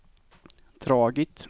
dragit